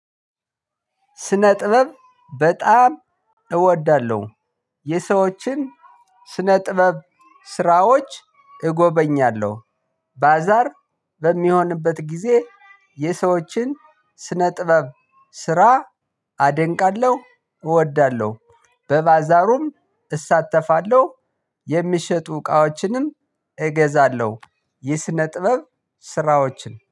ስነ ጥበብ በጣም እወዳለሁ የሰዎችን ስነ ጥበብ ስራዎች እጎበኛለሁ። ባዛር በሚሆንበት ጊዜ። የሰዎችን ስነ ጥበብ ስራ አደንቃለሁ። እወዳለሁ በባዛሩም እሳተፋለሁ። የሚሸጡ እቃዎችንም እገዛለሁ። የስነ ጥበብ ስራዎችን